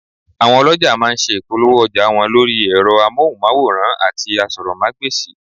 Àwọn ọlọ̀jà má a nse ìpolówó ọjà wọn lórí ẹ̀rọ amóhùnmáwòràn àti asọ́rọ́mágbèsì